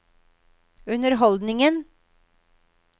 underholdningen